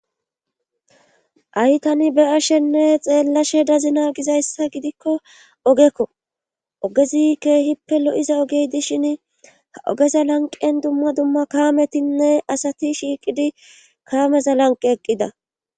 Hai tani be7ashenne xeellashe dazina gizayssa gidikko ogekko ogezi keehippe lo7iza ogey dishin a ogeza lanqen dumma dumma kaametinne asati shiiqidi kaameza lanqe eqqida